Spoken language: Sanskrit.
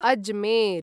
अजमेर्